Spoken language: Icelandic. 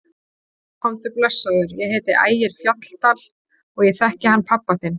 Komdu blessaður, ég heiti Ægir Fjalldal og ég þekki hann pabba þinn!